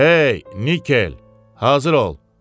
Hey, Nikel, hazır ol!